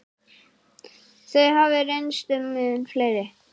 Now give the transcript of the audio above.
Þau hafi reynst mun fleiri.